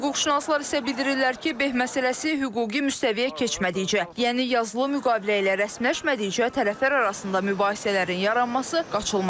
Hüquqşünaslar isə bildirirlər ki, beh məsələsi hüquqi müstəviyə keçmədikcə, yəni yazılı müqavilə ilə rəsmiləşmədikcə tərəflər arasında mübahisələrin yaranması qaçılmazdır.